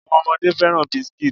Àwọn ọmọdé fẹ́ràn biscuits.